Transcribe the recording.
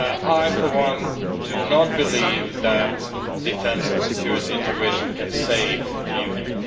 I for one do not believe that defence and security integration can save the Union.